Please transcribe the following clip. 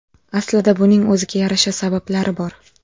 Aslida buning o‘ziga yarasha sabablari bor.